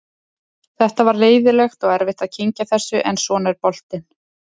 Þetta var leiðinlegt og erfitt að kyngja þessu en svona er boltinn.